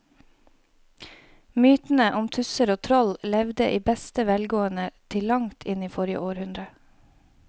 Mytene om tusser og troll levde i beste velgående til langt inn i forrige århundre.